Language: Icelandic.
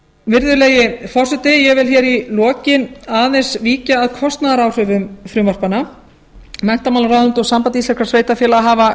virðulegi forseti ég vil í lokin aðeins víkja að kostnaðaráformum frumvarpanna menntamálaráðuneytið og samband íslenskum sveitarfélaga hafa